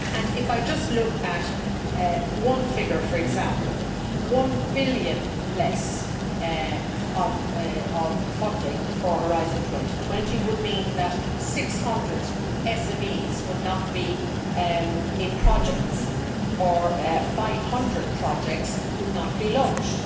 If I just look at one figure, for example, EUR 1 billion less of funding for Horizon 2020 would mean that 600 SMEs would not be in projects, or 500 projects would not be launched.